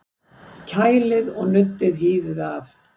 Kælið og nuddið hýðið af